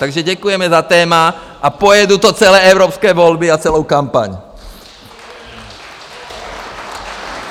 Takže děkujeme za téma a pojedu to celé evropské volby a celou kampaň!